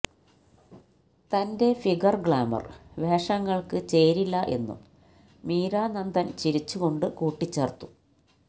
തന്റെ figure glamour വേഷങ്ങള്ക്ക് ചേരില്ല എന്നും മീര നന്ദന് ചിരിച്ചു കൊണ്ട് കൂട്ടിചേര്ത്തു